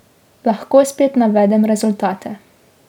Lahko spet navedem rezultate.